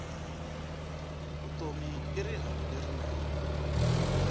vutomi i rihanyu lerinene